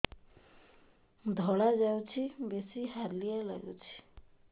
ଧଳା ଯାଉଛି ବେଶି ହାଲିଆ ଲାଗୁଚି